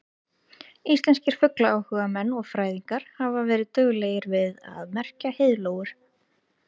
Íslenskir fuglaáhugamenn og fræðingar hafa verið duglegir við að merkja heiðlóur.